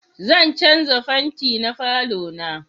Zan canja fenti na falo na